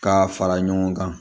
K'a fara ɲɔgɔn kan